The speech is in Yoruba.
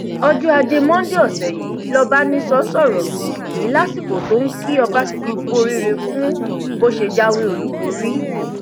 ọjọ ajé monde ọsẹ yìí lọbánisọ sọrọ yìí lásìkò tó ń kí ọbaṣẹkì kú oríire fún bó ṣe jáwé olúborí